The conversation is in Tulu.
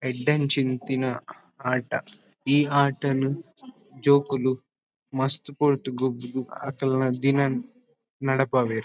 ಎಡ್ಡೆಂಚಿಂತಿನ ಆಟ ಈ ಆಟನ್ ಜೋಕುಲು ಮಸ್ತ್ ಪೊರ್ತು ಗೊಬ್ಬುದ್ ಅಕಲ್ನ ದಿನನ್ ನಡಪಾವೆರ್.